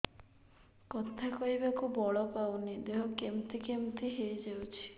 କଥା କହିବାକୁ ବଳ ପାଉନି ଦେହ କେମିତି କେମିତି ହେଇଯାଉଛି